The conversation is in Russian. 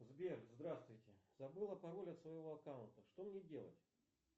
сбер здравствуйте забыла пароль от своего аккаунта что мне делать